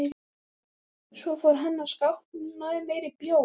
Svo fór hann að skápnum og náði í meiri bjór.